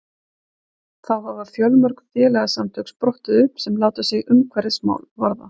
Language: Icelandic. þá hafa fjölmörg félagasamtök sprottið upp sem láta sig umhverfismál varða